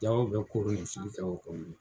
Dɔw bɛ koronifili kɛ o kɔnɔ.